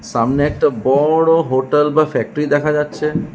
সামনে একটা বড় হোটেল বা ফ্যাক্টরি দেখা যাচ্ছে।